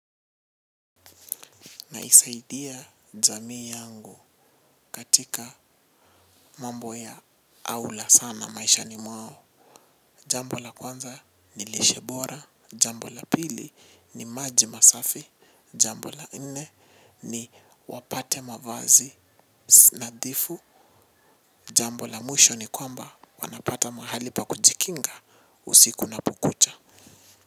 Naisaidia jamii yangu katika mambo ya aula sana maishani mwao. Jambo la kwanza ni lishe bora. Jambo la pili ni maji masafi. Jambo la nne ni wapate mavazi nadhifu. Jambo la mwisho ni kwamba wanapata mahali pa kujikinga usiku unapokucha.